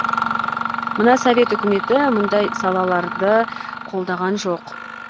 мына совет үкіметі мұндай салаларды қолдаған жоқ